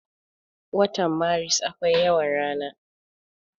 Watan maris akwai yawan rana.